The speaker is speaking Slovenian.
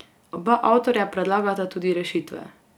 Oba avtorja predlagata tudi rešitve.